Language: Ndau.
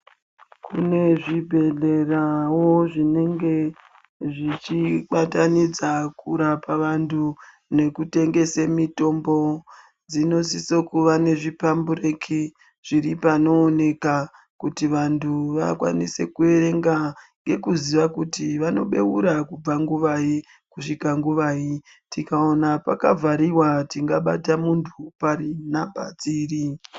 Kune zvibhedhleravo zvinenge zvichibatanidza kurapa vantu nekutengese mitombo. Dzinosiso kuve nezvipambureki zviri panooneka. Kuti vantu vakanise kuverenga ngekuziva kuti vanobeura kubvanguvai kusvika nguvai tikaona pakavhariva tingabata muntu pari nhamba dziri.